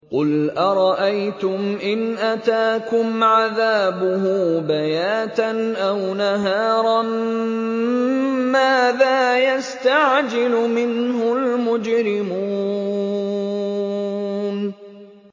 قُلْ أَرَأَيْتُمْ إِنْ أَتَاكُمْ عَذَابُهُ بَيَاتًا أَوْ نَهَارًا مَّاذَا يَسْتَعْجِلُ مِنْهُ الْمُجْرِمُونَ